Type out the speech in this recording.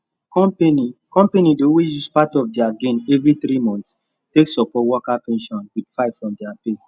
company company dey always use part of their gain every three months take support worker pension with 5 from their pay